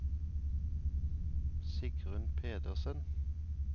Sigrunn Pedersen